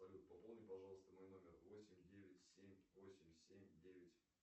салют пополни пожалуйста мой номер восемь девять семь восемь семь девять